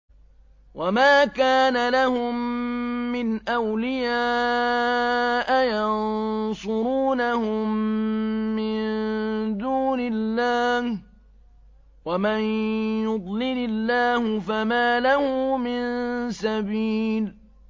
وَمَا كَانَ لَهُم مِّنْ أَوْلِيَاءَ يَنصُرُونَهُم مِّن دُونِ اللَّهِ ۗ وَمَن يُضْلِلِ اللَّهُ فَمَا لَهُ مِن سَبِيلٍ